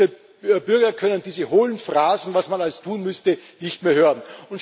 Unsere Bürger können diese hohlen Phrasen, was man alles tun müsste, nicht mehr hören.